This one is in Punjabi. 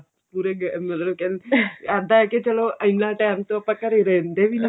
ਪੂਰੇ ਮਤਲਬ ਕਹਿੰਦੇ ਇੱਦਾਂ ਹੈ ਕੀ ਚਲੋ ਇੰਨਾ ਟੇਮ ਤੋਂ ਆਪਾਂ ਘਰੇ ਰਹਿੰਦੇ ਵੀ ਨੀ